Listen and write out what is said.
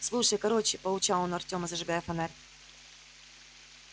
слушай короче поучал он артема зажигая фонарь